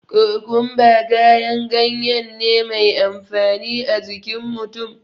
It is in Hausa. Kokumba kayan gayen ne mai amfani a jikin mutum